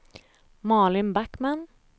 Malin Backman